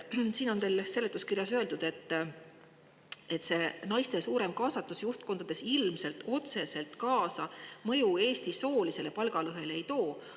Siin seletuskirjas on teil öeldud, et naiste suurem kaasatus juhtkondades ilmselt otseselt kaasa mõju Eesti soolisele palgalõhele ei too.